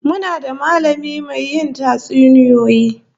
Muna da mallami mai yin tatsuniya